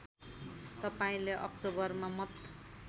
तपाईँले अक्टोबरमा मत